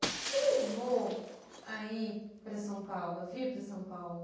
O que te levou a ir para São Paulo, a vir para São Paulo?